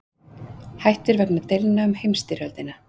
Hættir vegna deilna um heimsstyrjöldina